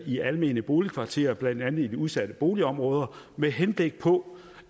i almene boligkvarterer blandt andet i de udsatte boligområder med henblik på